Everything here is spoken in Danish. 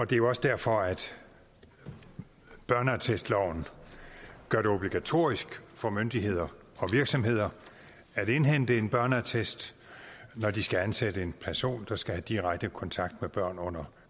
det er også derfor at børneattestloven gør det obligatorisk for myndigheder og virksomheder at indhente en børneattest når de skal ansætte en person der skal have direkte kontakt med børn under